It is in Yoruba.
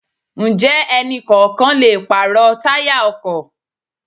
Ǹjẹ́ ẹni kọ̀ọ̀kan lè pàrọ̀ táyà ọkọ̀?